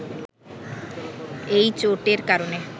এই চোটের কারণে